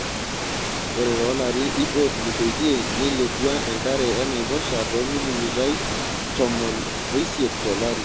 Ore toolarin iip ootulusoitie neilepua enkare enaiposha toomilimitai tomon oisiet tolari.